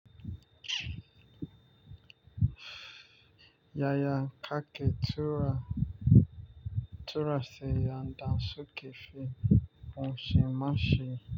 Yaya kake tura, sayan da su ke fi kunshi mashin.